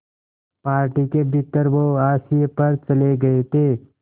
party के भीतर वो हाशिए पर चले गए थे